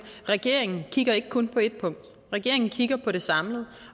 regeringen kigger ikke kun på ét punkt regeringen kigger på det samlet